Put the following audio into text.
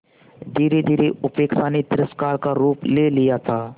धीरेधीरे उपेक्षा ने तिरस्कार का रूप ले लिया था